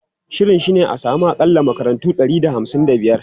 Shirin shi ne a samu akalla makarantu ɗari da hamsin da biyar.